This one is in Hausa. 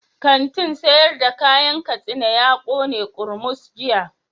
Kantin sayar da kayan katsina ya kone kurmus jiya